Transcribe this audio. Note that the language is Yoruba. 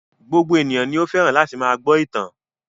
Gbogbo ènìyàn ni ó fẹ́ràn láti máa gbọ́ ìtàn.